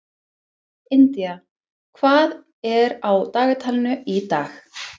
India, hvað er á dagatalinu í dag?